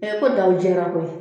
E ko daW Jɛra koyi